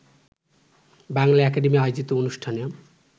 Bangla academy আয়োজিত অনুষ্ঠানে